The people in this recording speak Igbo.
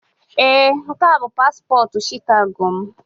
Ee, nke a bụ paspọtụ Shikago m.